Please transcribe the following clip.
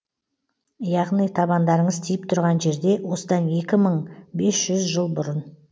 яғни табандарыңыз тиіп тұрған жерде осыдан екі мың бес жүз жыл бұрын